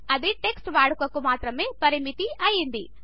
ఇది టెక్స్ట్ వాడకమునకు మాత్రమే పరిమితి అయ్యింది